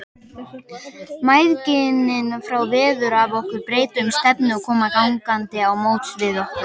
Mæðginin fá veður af okkur, breyta um stefnu og koma gangandi á móts við okkur.